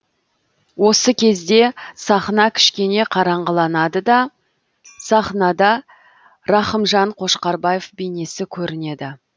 осы кезде сахна кішкене қараңғыланады да сахнада рақымжан қошқарбаев бейнесі көрінеді